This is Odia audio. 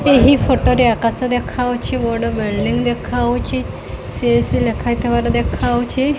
ଏହି ଫଟୋ ରେ ଆକାଶ ଡେଖାଆଉଛି ବଡ଼ ବିଲ୍ଡିଂ ଡେଖାଆଉଛି ସି ଏସ ସି ଲେଖା ହେଇଥିବାର ଦେଖାଆଉଛି।